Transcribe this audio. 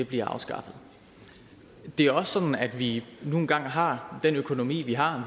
bliver afskaffet det er også sådan at vi nu engang har den økonomi vi har